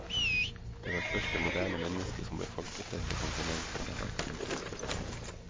Det var først det moderne menneske som befolket dette kontinentet. punktum